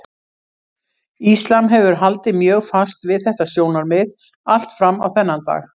Íslam hefur haldið mjög fast við þetta sjónarmið allt fram á þennan dag.